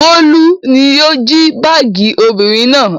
Bólú ni yóò jí báágì obìnrin náà.